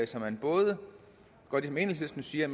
så man både gør det som enhedslistens siger